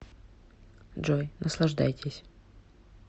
джой наслаждайтесь